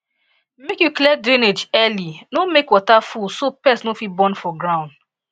make you clear drainage early no make water full so pest no fit born for ground